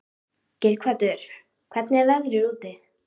Geirhvatur, hvernig er veðrið úti?